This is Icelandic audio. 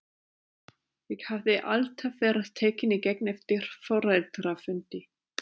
Ég hafði alltaf verið tekinn í gegn eftir foreldrafundi.